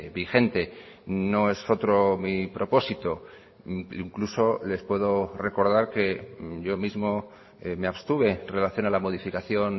vigente no es otro mi propósito incluso les puedo recordar que yo mismo me abstuve en relación a la modificación